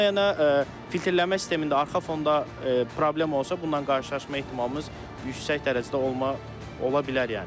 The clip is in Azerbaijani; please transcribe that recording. Onda yənə filtrlənmə sistemində arxa fonda problem olsa bununla qarşılaşma ehtimalımız yüksək dərəcədə olma ola bilər yəni.